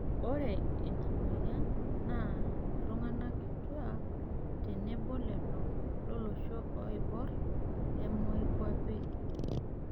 Ore ina moyian naa iltung'ana kituak tenebo lelo lolosho oiborr le moikuape.